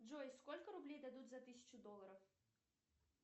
джой сколько рублей дадут за тысячу долларов